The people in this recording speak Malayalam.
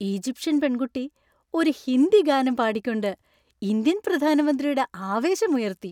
ഈജിപ്ഷ്യൻ പെൺകുട്ടി ഒരു ഹിന്ദി ഗാനം പാടിക്കൊണ്ട് ഇന്ത്യൻ പ്രധാനമന്ത്രിയുടെ ആവേശം ഉയർത്തി.